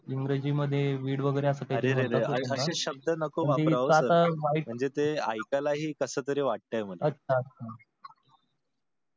इंग्रजी मध्ये weed वगैरे असं काही तरी अरे रे रे अशे शब्द नको वापरो म्हणजे ते ऐकायला ही कसं तरी वाटतंय मला. अच्छा.